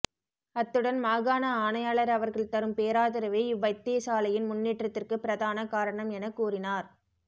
அத்துடன் மாகாண ஆணையாளர் அவர்கள் தரும் பேராதரவே இவ் வைத்தியசாலையின் முன்னேற்றத்திற்கு பிரதான காரணம் என கூறினார்